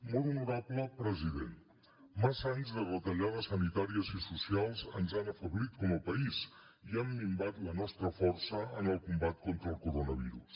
molt honorable president massa anys de retallades sanitàries i socials ens han afeblit com a país i han minvat la nostra força en el combat contra el coronavirus